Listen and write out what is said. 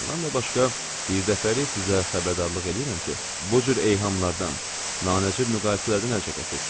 Bundan da başqa, bir dəfəlik sizə xəbərdarlıq eləyirəm ki, bu cür eyhamlardan, nanəcib müqayisələrdən əl çəkəsiniz.